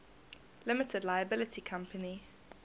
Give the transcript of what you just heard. limited liability company